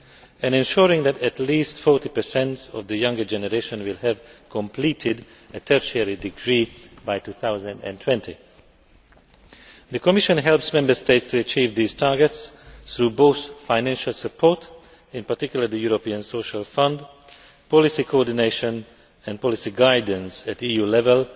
and ensuring that at least 40 of the younger generation will have completed a tertiary degree by 2020. The Commission helps Member States to achieve these targets through financial support, in particular the European Social Fund, policy coordination and policy guidance at EU level